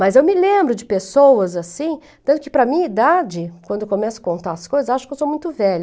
Mas eu me lembro de pessoas assim, tanto que para a minha idade, quando eu começo a contar as coisas, acho que eu sou muito velha.